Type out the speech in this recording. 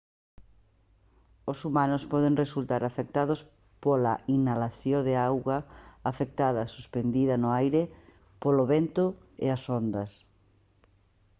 os humanos poden resultar afectados pola inhalación de auga afectada suspendida no aire polo vento e as ondas